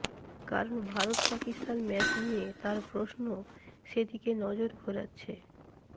কারণ ভারত পাকিস্তান ম্যাচ নিয়ে তাঁর প্রশ্ন সেদিকে নজর ঘোরাচ্ছে